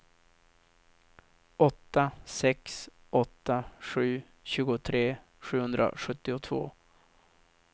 åtta sex åtta sju tjugotre sjuhundrasjuttiotvå